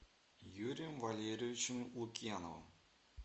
юрием валерьевичем лукьяновым